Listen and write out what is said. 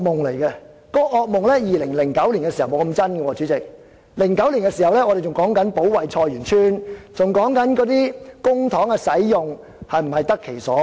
主席，這個惡夢在2009年還沒那麼真實，我們那時候還在說保衞菜園村，還在說公帑是否用得其所。